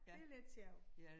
Det lidt sjovt